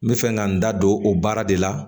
N bɛ fɛ ka n da don o baara de la